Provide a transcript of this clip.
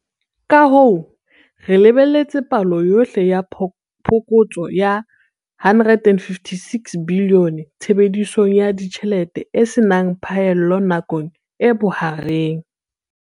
Kahoo, re lebelletse palo yohle ya phokotso ya R156 bilione tshebedisong ya ditjhelete e se nang phaello nakong e bohareng.